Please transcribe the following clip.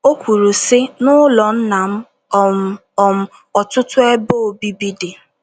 O kwuru, sị: “ N’ụlọ Nna m um, um, ọtụtụ ebe obibi dị.